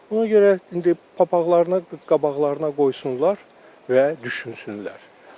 Ona görə indi papaqləarına qabaqlarına qoysunlar və düşünsünlər.